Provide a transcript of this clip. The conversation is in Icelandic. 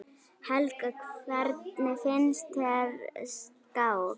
Helga: Hvernig finnst þér skák?